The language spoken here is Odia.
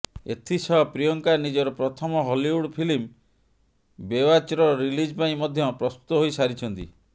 ଏଥିସହ ପ୍ରିୟଙ୍କା ନିଜର ପ୍ରଥମ ହଲିଉଡ଼୍ ଫିଲ୍ମ ବେୱାଚ୍ର ରିଲିଜ ପାଇଁ ମଧ୍ୟ ପ୍ରସ୍ତୁତ ହୋଇ ସାରିଛନ୍ତି